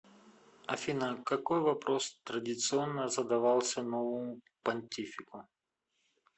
афина какой вопрос традиционно задавался новому понтифику